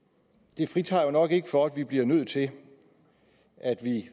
det fritager os jo nok ikke for at vi bliver nødt til